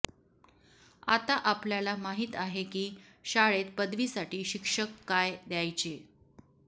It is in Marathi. आता आपल्याला माहित आहे की शाळेत पदवीसाठी शिक्षक काय द्यायचे